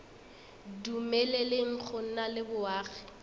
dumeleleng go nna le boagi